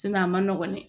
a ma nɔgɔn dɛ